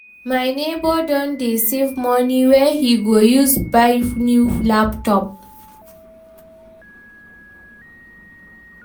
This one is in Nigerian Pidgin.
my nebor don dey save money wey he go use buy new laptop.